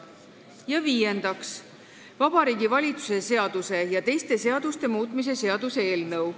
Ja viiendaks, Vabariigi Valitsuse seaduse ja teiste seaduste muutmise seaduse eelnõu.